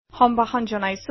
সম্ভাষণ জনাইছোঁ